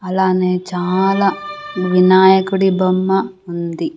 అలానే చాలా వినాయకుడి బొమ్మ ఉంది.